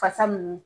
Fasa ninnu